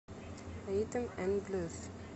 ритм н блюз